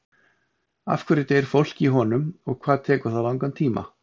Af hverju deyr fólk í honum og hvað tekur það langan tíma?